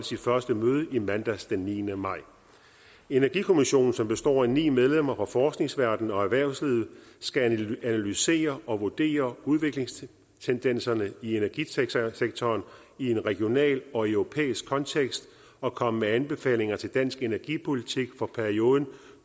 sit første møde i mandags den niende maj energikommissionen som består af ni medlemmer fra forskningsverdenen og erhvervslivet skal analysere og vurdere udviklingstendenserne i energisektoren i en regional og europæisk kontekst og komme med anbefalinger til dansk energipolitik for perioden